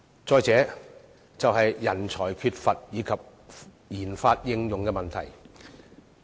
再者，政府必須解決人才短缺及研發應用的問題。